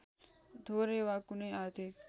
थोरै वा कुनै आर्थिक